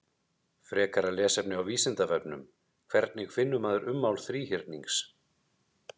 Frekara lesefni á Vísindavefnum: Hvernig finnur maður ummál þríhyrnings?